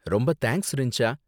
ரொம்ப தேங்க்ஸ் ரிஞ்சா.